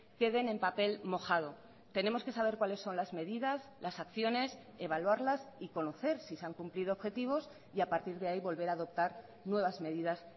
queden en papel mojado tenemos que saber cuáles son las medidas las acciones evaluarlas y conocer si se han cumplido objetivos y a partir de ahí volver a adoptar nuevas medidas